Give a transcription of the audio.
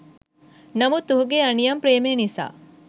නමුත් ඔහුගේ අනියම් ප්‍රේමය නිසා